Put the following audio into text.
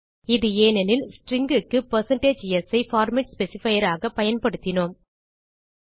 இது ஏனெனில் ஸ்ட்ரிங் க்கு160s ஐ பார்மேட் ஸ்பெசிஃபையர் ஆக பயன்படுத்தினோம்